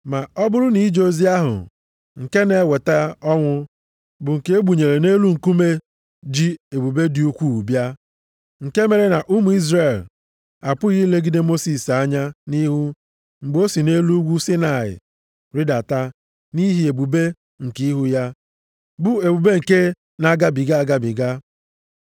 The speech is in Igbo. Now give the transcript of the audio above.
Ma ọ bụrụ nʼije ozi ahụ nke na-eweta ọnwụ bụ nke e gbunyere nʼelu nkume ji ebube dị ukwuu bịa, nke mere na ụmụ Izrel apụghị ilegide Mosis anya nʼihu mgbe o si nʼelu ugwu Saịnaị rịdata nʼihi ebube nke ihu ya, bụ ebube nke na-agabiga agabiga,